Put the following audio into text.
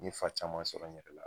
N fa caman sɔrɔ n yɛrɛ la.